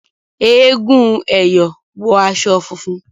Èègún " ẹyọ ", wọ aṣọ funfun